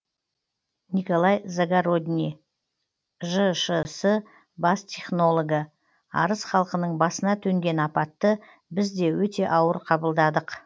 николай загородний жшс бас технологы арыс халқының басына төнген апатты біз де өте ауыр қабылдадық